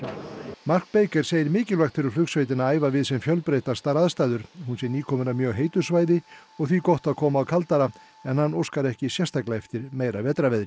mark segir mikilvægt fyrir flugsveitina að æfa við sem fjölbreyttastar aðstæður hún sé nýkomin af mjög heitu svæði og því gott að koma á kaldara en hann óskar ekki sérstaklega eftir meira vetrarveðri